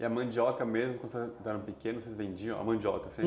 E a mandioca mesmo, quando você eram pequenos, vocês vendiam a mandioca?